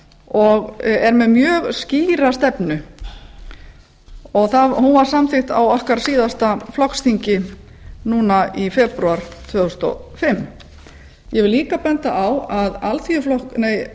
og er með mjög skýra stefnu og hún var samþykkt á okkar síðasta flokksþingi núna í febrúar tvö þúsund og fimm ég vil líka benda á að